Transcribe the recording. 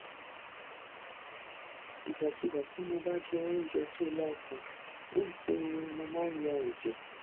ìgbàkigbà tí mo bá jẹ oúnjẹ tó láta ń ṣe ni mo máa ń ya ẹjẹ